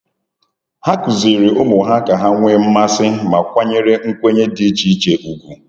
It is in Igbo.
Ha kụziri ụmụ ha ka ha nwee mmasị ma kwanyere nkwenye dị iche iche ugwu.